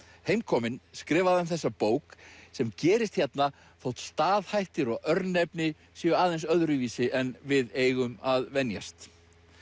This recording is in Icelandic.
heimkominn skrifaði hann þessa bók sem gerist hérna þótt staðhættir og örnefni séu aðeins öðruvísi en við eigum að venjast